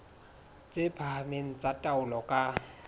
tse phahameng tsa taolo ka